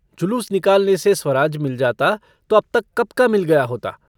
जुलूस निकालने से स्वराज्य मिल जाता तो अब तक कब का मिल गया होता।